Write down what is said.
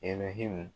Elɛhimu